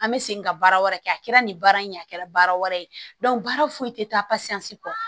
An bɛ segin ka baara wɛrɛ kɛ a kɛra nin baara in ye a kɛra baara wɛrɛ ye baara foyi tɛ taa pasiyansi kɔ